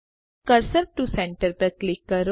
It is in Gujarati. કર્સર ટીઓ સેન્ટર પર ક્લિક કરો